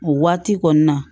O waati kɔni na